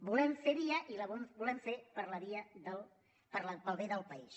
volem fer via i la volem fer pel bé del país